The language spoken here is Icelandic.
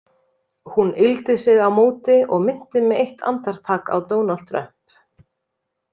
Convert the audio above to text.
Hún yggldi sig á móti og minnti mig eitt andartak á Donald Trump.